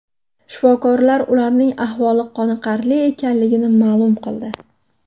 Shifokorlar ularning ahvoli qoniqarli ekanligini ma’lum qildi.